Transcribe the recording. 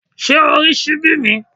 Ṣé o rí ṣíbí mi?